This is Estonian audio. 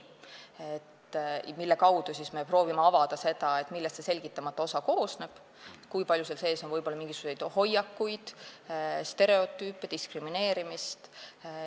Selle kaudu me proovime avada seda, millest see selgitamata osa koosneb, kui palju seal on sees võib-olla mingisuguseid hoiakuid, stereotüüpe, diskrimineerimist.